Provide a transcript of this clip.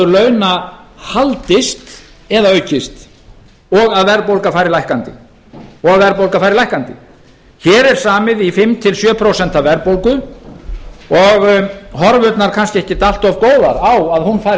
launa haldist eða aukist og að verðbólga fari lækkandi og verðbólga fari lækkandi hér er samið í fimm til sjö prósent verðbólgu og horfurnar kannski ekki allt of góðar á að hún fari